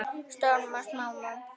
Stórum og smáum.